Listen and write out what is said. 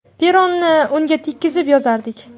Peroni unga tekkizib yozardik.